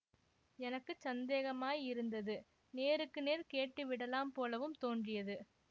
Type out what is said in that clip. எனக்கு சந்தேகமாயிருந்தது நேருக்கு நேர் கேட்டு விடலாம் போலவும் தோன்றியது